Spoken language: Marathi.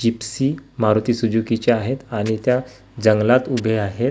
जिप्सी मारुती सुझुकीच्या आहेत आणि त्या जंगलात उभे आहेत.